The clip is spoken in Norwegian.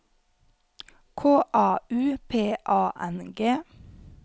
K A U P A N G